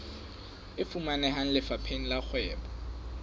e fumaneha lefapheng la kgwebo